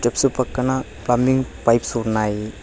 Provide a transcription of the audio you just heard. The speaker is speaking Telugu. స్టెప్స్ పక్కన పంబింగ్ పైప్స్ ఉన్నాయి.